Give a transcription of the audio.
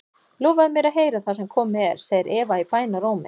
Lofaðu mér að heyra það sem komið er, segir Eva í bænarrómi.